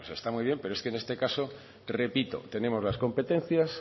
está muy bien pero en este caso repito tenemos las competencias